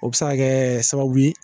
O bɛ se ka kɛ sababu ye